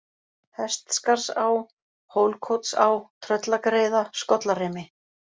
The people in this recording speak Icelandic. Hestskarðsá, Hólkotsá, Tröllagreiða, Skollarimi